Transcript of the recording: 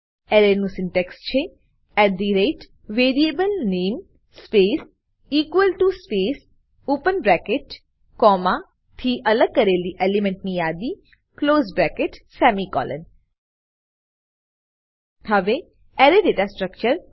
એરેનું syntax છે160 at the rate variable name space equal to space open bracket comma થી અલગ કરેલી એલિમેન્ટની યાદી ક્લોઝ બ્રેકેટ સેમિકોલોન હવે અરે દાતા સ્ટ્રકચર